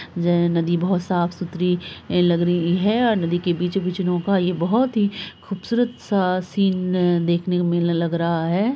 जे नदी बहुत साफ़-सूतरी लग रही हैं और नदी के बीचो-बीच नौका ये बहुत ही खुबसूरत-सा सीन देखने को मिलने लग रहा है।